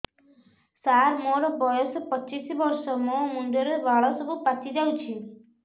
ସାର ମୋର ବୟସ ପଚିଶି ବର୍ଷ ମୋ ମୁଣ୍ଡରେ ବାଳ ସବୁ ପାଚି ଯାଉଛି